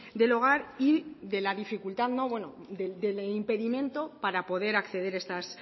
del hogar y de la dificultad bueno del impedimento para poder acceder a estas